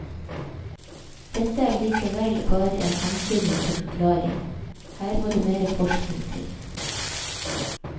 Dette er likevel bare en antydning til forklaring, her må det mer forskning til.